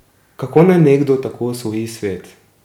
Kako naj nekdo tako osvoji svet?